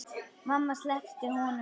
Mamma sleppti honum.